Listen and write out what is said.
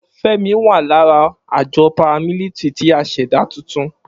Femi wa lara ajọ paramilitary ti a ṣẹda tuntun.